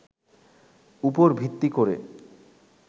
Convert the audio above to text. উপর ভিত্তি করে